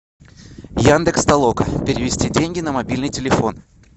яндекс толока перевести деньги на мобильный телефон